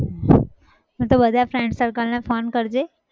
તો બધા friend circle ને phone કરજે